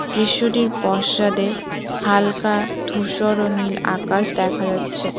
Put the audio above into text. দৃশ্যটির পশ্চাদে হালকা ধূসর ও নীল আকাশ দেখা যাচ্ছে।